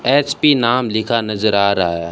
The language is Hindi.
एच_पी नाम लिखा नजर आ रहा है।